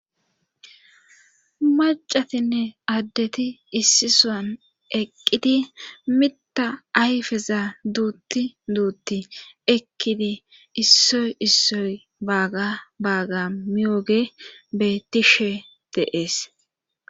macatinne addeti issi soan eqqidi mita ayfeza duutti duutti eqkidi issoy issoy baaga baaga miyooge bettishe deees